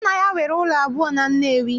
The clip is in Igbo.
Nna ya nwere ụlọ abụọ na Nnewi